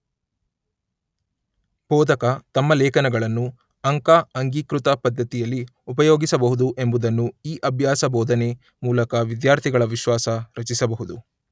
ಬೋಧಕ ತಮ್ಮ ಲೇಖನಗಳನ್ನು ಅಂಕ ಅಂಗೀಕೃತ ಪದ್ಧತಿಯಲ್ಲಿ ಉಪಯೋಗಿಸಬಹುದು ಎಂಬುದನ್ನು ಈ ಅಭ್ಯಾಸ ಬೋಧನೆ ಮೂಲಕ ವಿದ್ಯಾರ್ಥಿಗಳ ವಿಶ್ವಾಸ ರಚಿಸಬಹುದು.